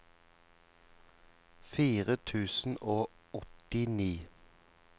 fire tusen og åttini